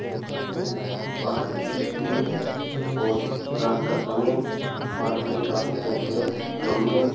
देख रहे हैं ये एक पार्क की तस्वीर है और रात का समय है पार्क में काफी खूबसूरत गमले हैं।